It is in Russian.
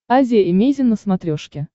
азия эмейзин на смотрешке